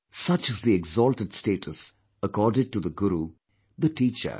Such is the exalted status accorded to the guru, the teacher